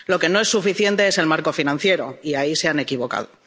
Lo que no es suficiente es el marco financiero y ahí se han equivocado.